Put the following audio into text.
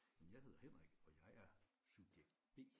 Men jeg hedder Henrik og jeg er subjekt B